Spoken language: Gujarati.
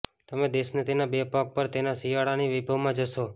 તમે દેશને તેના બે પગ પર તેના શિયાળાની વૈભવમાં જોશો